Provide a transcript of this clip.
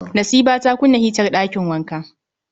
Nasiba ta kunna hitar ɗakin wanka